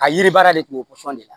A yiri baara de tun bɛ pɔsɔn de la